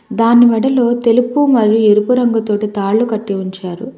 దాని మేడలో తెలుపు మరియు ఎరుపు రంగుతో తాలు కట్టి ఉంచారు.